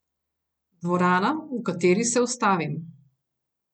Dvorana, v kateri se ustavim.